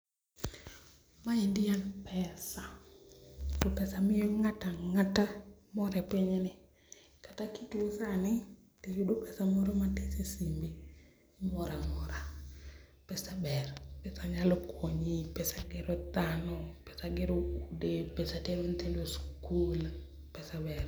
maendi en pesa to pesa miyo ng'ata ng'ata mor epinyni. Kata kituo sani tiyudo pesa moro matin e simbi imor amora pesa ber pesa nyalo konyi pesa gero dhano pesa gero ute pesa tero nyithindo skul pesa ber.